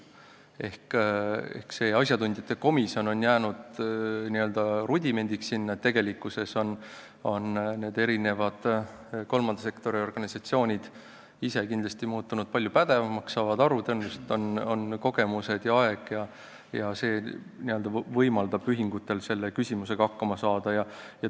Ehk see asjatundjate komisjon on muutunud n-ö rudimendiks, tegelikkuses on kolmanda sektori organisatsioonid kindlasti muutunud palju pädevamaks, nad saavad sellest asjast aru, tõenäoliselt on neil kogemused ja see võimaldab ühingutel selle küsimusega hakkama saada.